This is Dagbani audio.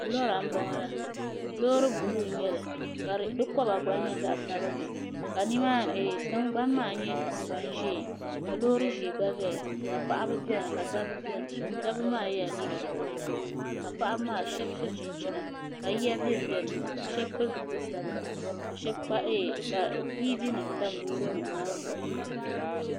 lora n boŋo la loori buluu n nyɛli ka di koba gba nyɛ zaɣ sabinli ka tingbani maa nyɛ tingbani ʒiɛ ka loori ʒiɛ gba ʒɛya paɣaba biɛni ka dabba biɛni dabba maa yɛla liiga sabila ka paɣaba maa shab so chinchina ka yiya bɛnbɛ ni ka shab pili zipili sabila ka yiya bɛn bɛ ni ka tiivi nim tam loori nim maa zuɣu